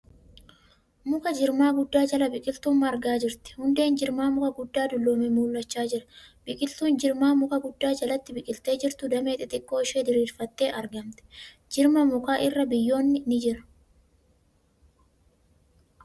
Muka jirmaa guddaa jala biqiltuun margaa jirti. Hundeen jirmaa muka guddaa dulloomee mul'achaa jira. Biqiltuun jirma mukaa guddaa jalatti biqiltee jirtu damee xixiqqoo ishee diriirfattee argamti. Jirma mukaa irra biyyoon ni jira .